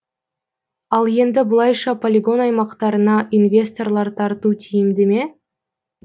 ал енді бұлайша полигон аймақтарына инвесторлар тарту тиімді ме